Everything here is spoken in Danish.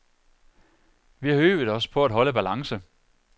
Vi har øvet os på at holde balance.